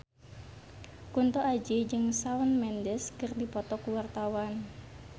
Kunto Aji jeung Shawn Mendes keur dipoto ku wartawan